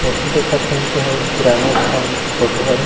Photo देखत हन तेन ह किराना दुकान के फोटो हरे।